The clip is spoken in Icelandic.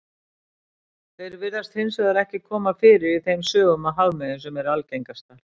Þeir virðast hins vegar ekki koma fyrir í þeim sögum af hafmeyjum sem eru algengastar.